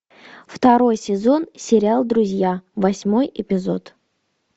второй сезон сериал друзья восьмой эпизод